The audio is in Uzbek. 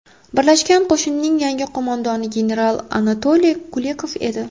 Birlashgan qo‘shinning yangi qo‘mondoni general Anatoliy Kulikov edi.